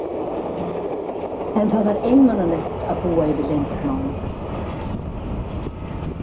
En það var einmanalegt að búa yfir leyndarmáli.